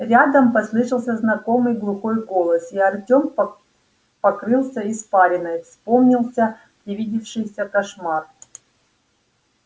рядом послышался знакомый глухой голос и артём по покрылся испариной вспомнился привидевшийся кошмар